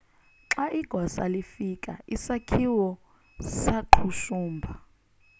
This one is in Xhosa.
xa igosa lifika isakhiwo saqhushumba